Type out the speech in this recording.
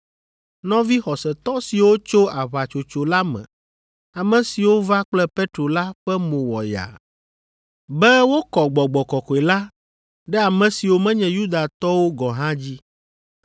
Nɔvi xɔsetɔ siwo tso aʋatsotso la me, ame siwo va kple Petro la ƒe mo wɔ yaa, be wokɔ Gbɔgbɔ Kɔkɔe la ɖe ame siwo menye Yudatɔwo gɔ̃ hã dzi,